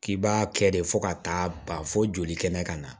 K'i b'a kɛ de fo ka taa ban fo joli kɛnɛ ka na